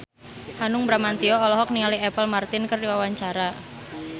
Hanung Bramantyo olohok ningali Apple Martin keur diwawancara